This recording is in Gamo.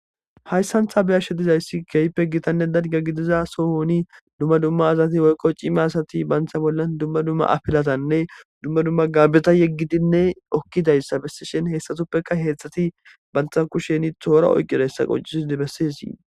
Hayssantha beyashe dizayssi keype gitanne dadga gidiza sohoni dumma dumma azati woykqo cime asati bantha bolla dumma dumma afilatanne dumma dumma gaabeta yeggidinne okkidayssa bessishen heessatuppeka heedzdxati bantha kusheni toora oyqidayssa qoncisi di bessisii.